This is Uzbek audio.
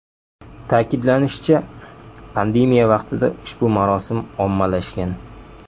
Ta’kidlanishicha, pandemiya vaqtida ushbu marosim ommalashgan.